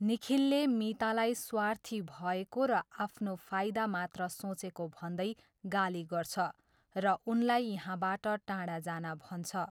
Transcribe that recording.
निखिलले मितालाई स्वार्थी भएको र आफ्नो फाइदा मात्र सोचेको भन्दै गाली गर्छ र उनलाई यहाँबाट टाढा जान भन्छ।